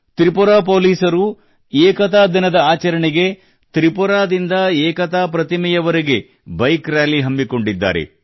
ತ್ರಿಪುರಾ ಪೋಲಿಸರು ಏಕತಾ ದಿನದಾಚರಣೆಗೆ ತ್ರಿಪುರಾದಿಂದ ಏಕತಾ ಪ್ರತಿಮೆವರೆಗೆ ಬೈಕ್ ರಾಲಿ ಹಮ್ಮಿಕೊಂಡಿದ್ದಾರೆ